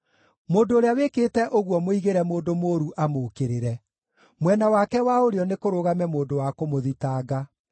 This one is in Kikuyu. Mũndũ ũrĩa wĩkĩte ũguo mũigĩre mũndũ mũũru amũũkĩrĩre; mwena wake wa ũrĩo nĩkũrũgame mũndũ wa kũmũthitanga.